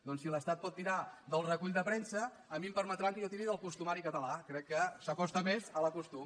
doncs si l’estat pot tirar del recull de premsa a mi em permetran que jo tiri del costumari catalàque s’acosta més al costum